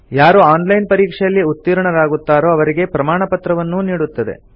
ಯಾರು online ಪರೀಕ್ಷೆಯಲ್ಲಿ ಉತ್ತೀರ್ಣರಾಗುತ್ತಾರೋ ಅವರಿಗೆ ಪ್ರಮಾಣಪತ್ರವನ್ನೂ ನೀಡುತ್ತದೆ